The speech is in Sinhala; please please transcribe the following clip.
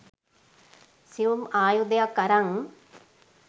සියුම් ආයුධයක් අරන්